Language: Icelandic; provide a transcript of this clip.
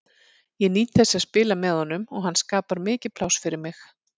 Ég nýt þess að spila með honum og hann skapar mikið pláss fyrir mig.